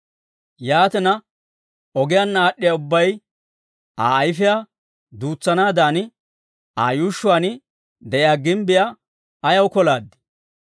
Yaatina, ogiyaanna aad'd'iyaa ubbay, Aa ayifiyaa duutsanaadan, Aa yuushshuwaan de'iyaa gimbbiyaa ayaw kolaadii?